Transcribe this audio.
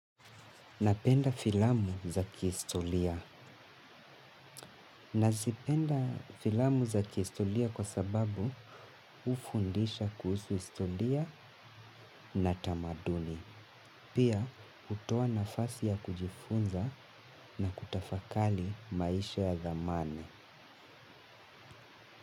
Napenda filamu za kihistoria. Nazipenda filamu za kihistoria kwa sababu ufundisha kuhusu historia na tamaduni. Pia hutoa na fasi ya kujifunza na kutafakari maisha ya zamani.